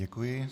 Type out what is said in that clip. Děkuji.